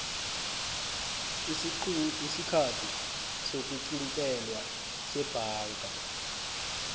isikhathi sokuqintelwa sebhanka